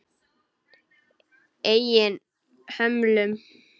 Eigin hömlum.